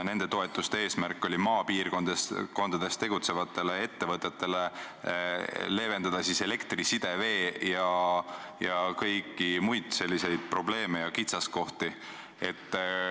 Nende toetuste eesmärk oli leevendada maapiirkondades tegutsevatel ettevõtetel elektri, side, vee ja kõige muu sellisega seonduvaid probleeme ja kitsaskohti.